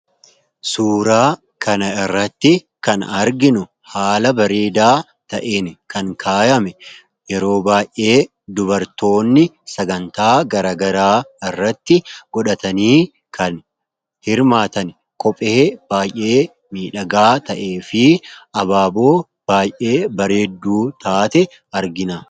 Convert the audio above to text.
Suuraa kana irratti kan arginu haala bareedaa ta'een kan kaayame yeroo baay'ee dubartoonni sagantaa garagaraa irratti godhatanii kan hirmaatan kophee baay'ee miidhagaa ta'e fi abaaboo baay'ee bareedduu taate argina.